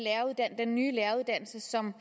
den nye læreruddannelse som